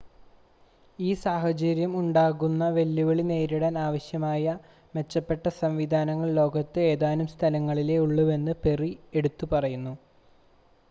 ഈ സാഹചര്യം ഉണ്ടാക്കുന്ന വെല്ലുവിളി നേരിടാൻ ആവശ്യമായ മെച്ചപ്പെട്ട സംവിധാനങ്ങൾ ലോകത്ത് ഏതാനും സ്ഥലങ്ങളിലേ ഉള്ളൂവെന്ന് പെറി എടുത്തു പറഞ്ഞു